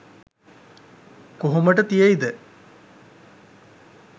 කොහොමට තියෙයිද?